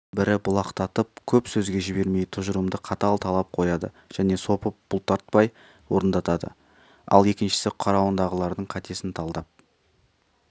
бірі бұлтақтатып көп сөзге жібермей тұжырымды қатал талап қояды және сопы бұлтартпай орындатады ал екіншісі қарауындағылардың қатесін талдап